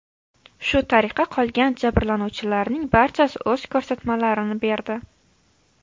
Shu tariqa, qolgan jabrlanuvchilarning barchasi o‘z ko‘rsatmalarini berdi.